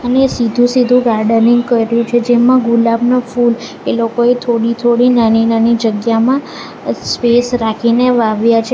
સીધું સીધું ગાર્ડનિંગ કર્યું છે જેમાં ગુલાબનું ફૂલ એ લોકોએ થોડી થોડી નાની નાની જગ્યામાં સ્પેસ રાખીને વાવ્યા છે.